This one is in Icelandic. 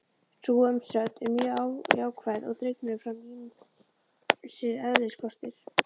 Sú umsögn er mjög jákvæð og dregnir fram ýmsir eðliskostir.